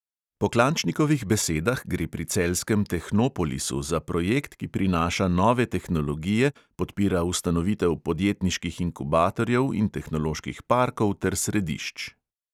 Po klančnikovih besedah gre pri celjskem tehnopolisu za projekt, ki prinaša nove tehnologije, podpira ustanovitev podjetniških inkubatorjev in tehnoloških parkov ter središč.